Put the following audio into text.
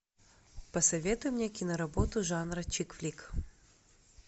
посоветуй мне киноработу жанра чик флик